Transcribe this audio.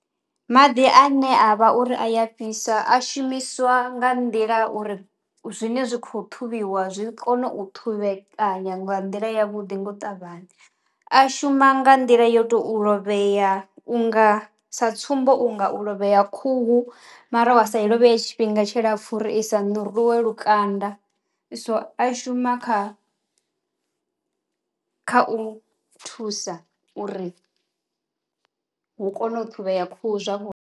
Maḓi ane a vha uri a ya fhisa a shumiswa nga nḓila uri zwine zwi kho ṱhuvhiwa zwi kono u ṱhuvhekanya nga nḓila ya vhuḓi nga u ṱavhanya. A shuma nga nḓila yo to u lovhea u nga sa tsumbo u nga u lovhea khuhu mara wa sa i lovheye tshifhinga tshilapfu uri i sa ṋuruwe lukanda so a shuma kha kha u thusa uri hu kone u ṱhuvhea khuhu zwavhuḓi.